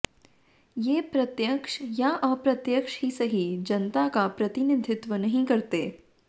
वे प्रत्यक्ष या अप्रत्यक्ष ही सही जनता का प्रतिनिधित्व नहीं करते